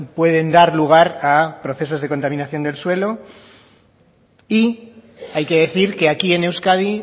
pueden dar lugar a procesos de contaminación del suelo y hay que decir que aquí en euskadi